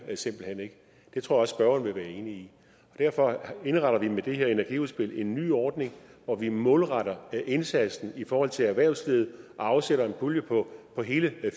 det tror jeg også at spørgeren vil være enig i derfor indretter vi med det her energiudspil en ny ordning hvor vi målretter indsatsen i forhold til erhvervslivet og afsætter en pulje på hele